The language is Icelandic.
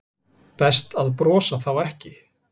Best að brosa þá ekki.